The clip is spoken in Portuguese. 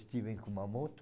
Estive em Kumamoto.